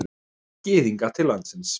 Gyðinga til landsins.